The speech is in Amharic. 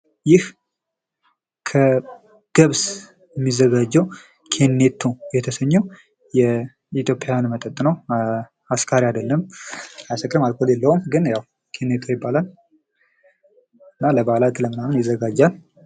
ይህ ከገብስ የሚዘጋጀው ኬኔቶ የተሰኘ የኢትዮጵያውያን መጠጥ ነው። ኧ አስካሪ አይደለም። አያስክርም አልኮል የለውም። ግን ያው ኬኔቶ ይባላል። እና በዓላት ለምንናምን ይዘጋጃል።